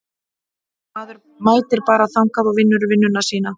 Maður mætir bara þangað og vinnur vinnuna sína.